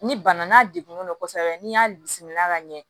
Ni bana n'a degunna kosɛbɛ n'i y'a bisimila ka ɲɛ